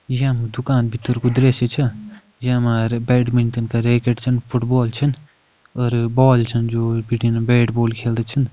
यम दुकान भितर कु दृश्य चा जैमा अर बैडमिंटन का रैकेट छन फुटबॉल छन अर बॉल छन जू बिटीन बैट बॉल खेलदा छन।